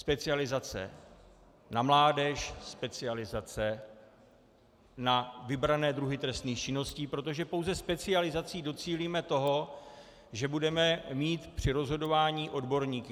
Specializace na mládež, specializace na vybrané druhy trestných činností, protože pouze specializací docílíme toho, že budeme mít při rozhodování odborníky.